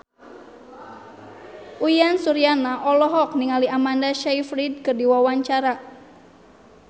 Uyan Suryana olohok ningali Amanda Sayfried keur diwawancara